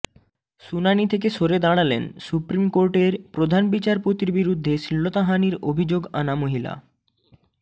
শুনানি থেকে সরে দাঁড়ালেন সুপ্রিম কোর্টের প্রধান বিচারপতির বিরুদ্ধে শ্লীলতাহানির অভিযোগ আনা মহিলা